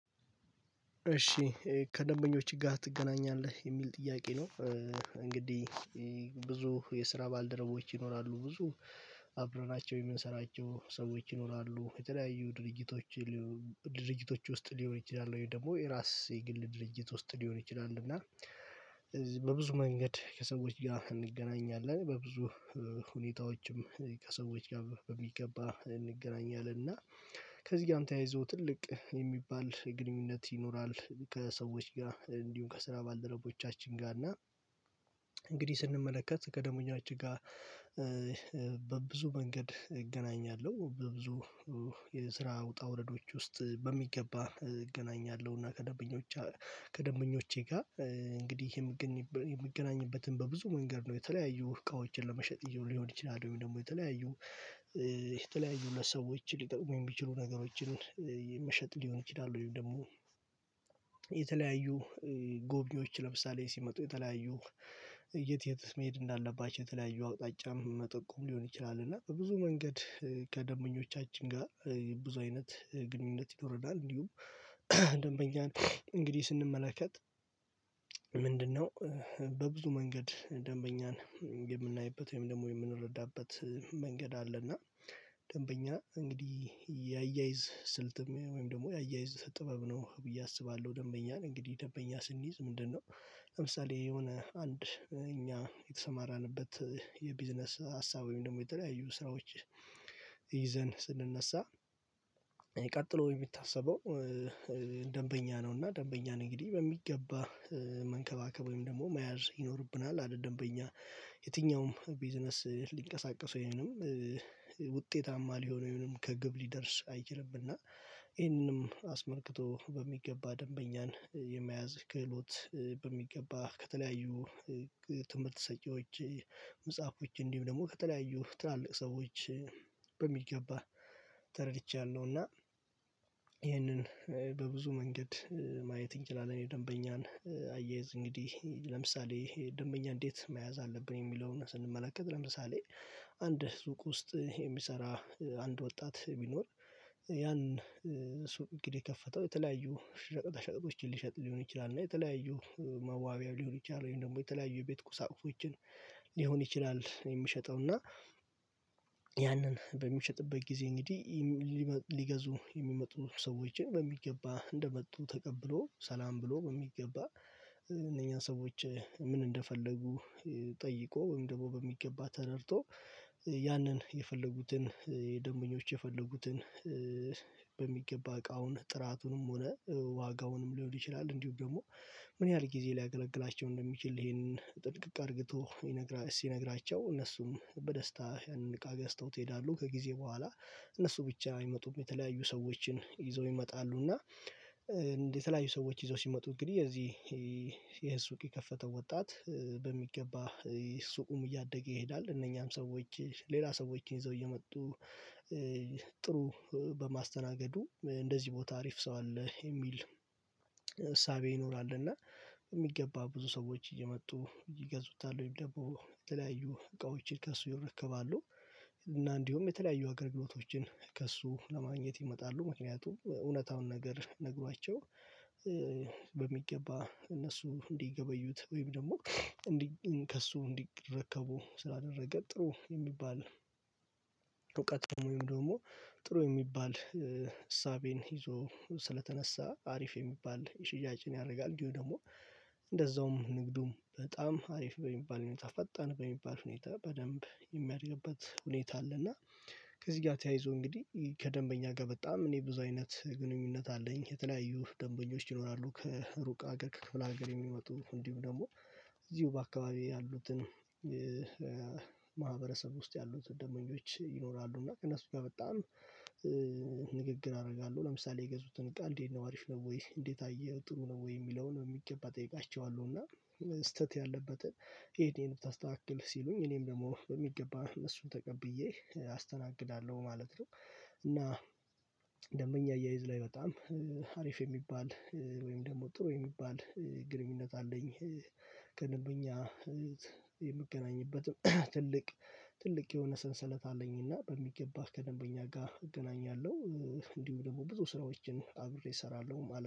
እሺ ከደንበኞች ጋር ትገናኛለህ የሚል ጥያቄ ነው። እንግዲህ ብዙ የስራ ባልደረቦች ይኖራሉ ብዙ አብረናቸው የምንሰራቸው ሰዎች ይኖራሉ የተለያዩ ድርጊቶች። ድርጅቶች ውስጥ ሊሆን ይችላል ወይ ደግሞ የራስ የግል ድርጅት ውስጥ ሊሆን ይችላል። እና በብዙ መንገድ ከሰዎች ጋር እንገናኛለን በብዙ ሁኔታዎችም ከሰዎች ጋር በሚገባ እንገናኛለን። እና ከዚህ ጋር አንተ ያይዞህ ትልቅ የሚባል ግንኙነት ይኖራል። ከሰዎች ጋር እንዲሁም ከስራ ባልደረቦቻችን ጋር እና እንግዲህ ስንመለከት ከደንበኛችን ጋር በብዙ መንገድ እገናኛለሁ በብዙ የስራ ውጣ ውረዶች ውስጥ በሚገባ እገናኛለሁ። እና ከደንበኞቼ ጋር እንግዲህ የምገኝበትን በብዙ መንገድ ነው የተለያዩ እቃዎችን ለመሸጥ ሊሆን ይችላል ወይም ደግሞ የተለያዩ የተለያዩ ለሰዎች ሊጠቅሙኝ ቢችሉ ነገሮችን መሸጥ ሊሆን ይችላሉ። ወይም ደግሞ የተለያዩ ጎብኚዎች ለምሳሌ ሲመጡ የተለያዩ የት መሄድ እንዳለባቸው የተለያዩ አውጣጫ መጠቆም ሊሆን ይችላል እና በብዙ መንገድ ከደንበኞቻችን ጋር ብዙ አይነት ግንኙነት ይኖረናል። እንዲሁም ደንበኛን እንግዲህ ስንመለከት ምንድነው በብዙ መንገድ ደንበኛን የምናይበት ወይም ደግሞ የምንረዳበት መንገድ አለና ደንበኛ እንግዲህ የአያይዝ ስልትም ወይም ደግሞ የአያይዝ ጥበብ ነው ብዬ አስባለሁ። ደንበኛን እንግዲህ ደንበኛ ስንይዝ ምንድነው? ለምሳሌ የሆነ አንድ እኛ የተሰማራንበት የቢዝነስ ሀሳብ ወይም ደግሞ የተለያዩ ስራዎች ይዘን ስንነሳ ቀጥለው የምታሰበው ደንበኛ ነው። እና ደንበኛ ነኝ እንግዲህ በሚገባ መንከባከብ ወይም ደግሞ መያዝ ይኖርብናል። አይደልም በኛ የትኛውም ቢዝነስ ሊንቀሳቀስ ወይንም ውጤታማ ሊሆን ወይንም ከግብ ሊደርስ አይችልም። እና ይሄንንም አስመልክቶ በሚገባ ደንበኛን የመያዝ ክህሎት በሚገባ ከተለያዩ ትምህርት ሰጪዎች እንዲሁም ደግሞ ከተለያዩ ትላልቅ ሰዎች በሚገባ ተረድቻለሁ። እና ይህንን በብዙ መንገድ ማየት እንችላለን የደንበኛን አያይዝ እንግዲህ ለምሳሌ ደንበኛ እንዴት መያዝ አለብን? የሚለውን ስንመለከት ለምሳሌ አንድ ህዝብ ውስጥ የሚሰራ አንድ ወጣት ቢኖር ያን ሱቅ እንግዲህ የከፈተው የተለያዩ ሽቅጥ ሽቅጦችን ሊሸጥ ሊሆን ይችላል። እና የተለያዩ መዋቢያ ሊሆን ይችላል ወይም ደግሞ የተለያዩ የቤት ቁሳቁሶችን ሊሆን ይችላል። የሚሸጠው እና ያንን በሚሸጥበት ጊዜ እንግዲህ ሊገዙ የሚመጡ ሰዎችን በሚገባ እንደመጡ ተቀብሎ ሰላም ብሎ በሚገባ እነኛ ሰዎች ምን እንደፈለጉ ጠይቆ ወይም ደግሞ በሚገባ ተረድቶ ያንን የፈለጉትን የደንበኞች የፈለጉትን በሚገባ እቃውን ጥራቱንም ሆነ ዋጋውንም ሊሆን ይችላል። እንዲሁ ደግሞ ምን ያህል ጊዜ ሊያገለግላቸው እንደሚችል ይሄንን ጥንቅቅ አድርግቶ ይነግራ ሲነግራቸው እነሱም በደስታ አንድ እቃ ገዝተውት ይሄዳሉ። ከጊዜ በኋላ እነሱ ብቻ አይመጡም የተለያዩ ሰዎችን ይዘው ይመጣሉ። እና የተለያዩ ሰዎች ይዘው ሲመጡ እንግዲህ የዚህ የሱቅ የከፈተው ወጣት በሚገባ ሱቁም እያደገ ይሄዳል። እነኛም ሰዎች ሌላ ሰዎችን ይዘው እየመጡ ጥሩ በማስተናገዱ እንደዚህ ቦታ አሪፍ ሰው አለ የሚል እሳቤ ይኖራልና የሚገባ ብዙ ሰዎች እየመጡ ይገዙታል። ወይም ደግሞ የተለያዩ እቃዎችን ከእሱ ይረከባሉ እና እንዲሁም የተለያዩ ሀገር ግብሮቶችን ከእሱ ለማግኘት ይመጣሉ። ምክንያቱም እውነታውን ነገር ነግሯቸው በሚገባ እነሱ እንዲገበዩት ወይም ደግሞ እንዲህ ከእሱ እንዲረከቡ ስላደረገ ጥሩ የሚባል እውቀት ደግሞ ጥሩ የሚባል እሳቤን ይዞ ስለተነሳ አሪፍ የሚባል ሽያጭን ያደርጋል። ደግሞ እንደዛውም ንግዱም በጣም አሪፍ በሚባል ሁኔታ ፈጣን በሚባል ሁኔታ በደንብ የሚያደርግበት ሁኔታ አለ። እና ከዚህ ጋር ተያይዞ እንግዲህ ከደንበኛ ጋር በጣም እኔ ብዙ አይነት ግንኙነት አለኝ የተለያዩ ደንበኞች ይኖራሉ። ከሩቅ አገር ክፍለ አገር የሚመጡ እንዲሁ ደግሞ እዚሁ በአካባቢው ያሉትን ማህበረሰብ ውስጥ ያሉትን ደመኞች ይኖራሉ። እና ከእነሱ ጋር በጣም ንግግር አደርጋለሁ ለምሳሌ የገዙትን ቃል እንዴት ነው አሪፍ ነው ወይ እንዴት አየህ ጥሩ ነው ወይ የሚለውን በሚገባ ጠይቃቸዋለሁ። እና ስህተት ያለበትን ይሄን ታስተካክል ሲሉኝ እኔም ደግሞ በሚገባ እነሱን ተቀብዬ አስተናግዳለሁ ማለት ነው። እና ደንበኛ አያይዝ ላይ በጣም አሪፍ የሚባል ወይም ደግሞ ጥሩ የሚባል ግንኙነት አለኝ። የምገናኝበትም ትልቅ ትልቅ የሆነ ሰንሰለት አለኝና በሚገባ ከደንበኛ ጋር እገናኛለሁ እንዲሁ ደግሞ ብዙ ስራዎችን አብሬ እሰራለሁ ማለት